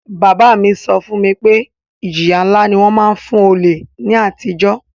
Bàbá mi so fún mi pe ìjìyà nlá ni won má n fun olè ni àtijó